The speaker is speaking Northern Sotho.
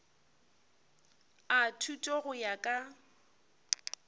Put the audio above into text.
a thuto go ya ka